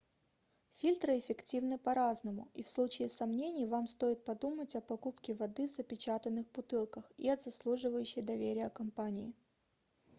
фильтры эффективны по-разному и в случае сомнений вам стоит подумать о покупке воды в запечатанных бутылках и от заслуживающей доверия компании